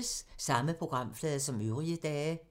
Samme programflade som øvrige dage